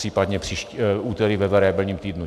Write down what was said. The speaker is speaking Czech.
Případně příští úterý ve variabilním týdnu.